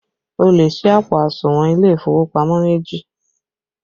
O lè sí àpò àsùnwọ̀n ilé ìfowópamọ́ méjì